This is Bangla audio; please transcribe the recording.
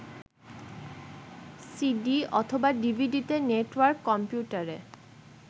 সিডি/ডিভিডিতে, নেটওয়ার্ক কম্পিউটারে